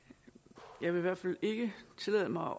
jeg vil i hvert fald ikke tillade mig